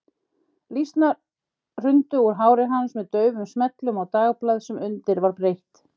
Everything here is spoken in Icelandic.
Lýsnar hrundu úr hári hans með daufum smellum á dagblað sem undir var breitt.